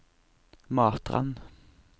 Matrand